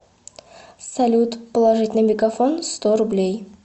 салют положить на мегафон сто рублей